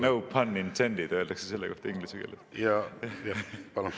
No pun intended öeldakse selle kohta inglise keeles.